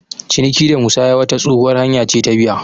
Ciniki da musaya wata tsohuwar hanya ce ta biya.